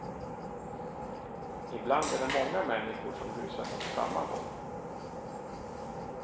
Ibland är det många människor som rusar mot samma håll.